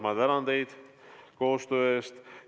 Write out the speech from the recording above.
Ma tänan teid koostöö eest!